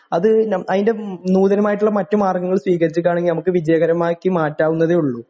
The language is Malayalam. അത് ന അതിൻ്റെ നൂതനമായിട്ടുള്ള മറ്റു മാർഗങ്ങൾ സ്വീകരിച്ചിട്ടാണെങ്കിൽ നമുക്ക് വിജയകരമാക്കി മാറ്റാവുന്നതേയുള്ളു.